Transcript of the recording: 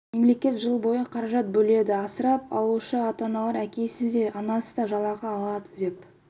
мемлекет жыл бойы қаражат бөледі асырап алушы ата-аналар әкесі де анасы да жалақы алады деп